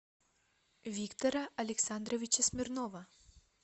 виктора александровича смирнова